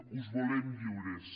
us volem lliures